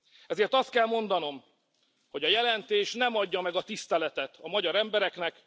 Ezért azt kell mondanom, hogy a jelentés nem adja meg a tiszteletet a magyar embereknek.